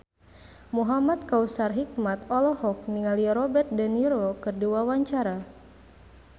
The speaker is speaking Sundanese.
Muhamad Kautsar Hikmat olohok ningali Robert de Niro keur diwawancara